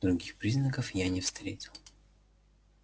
других признаков я не встретил